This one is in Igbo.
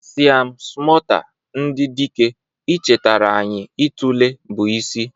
Siam smota ndị dike, ichetara anyị itule bụ isi.